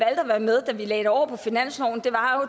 at være med da vi lagde det over på finansloven var